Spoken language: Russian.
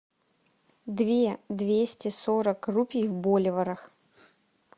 две двести сорок рупий в боливарах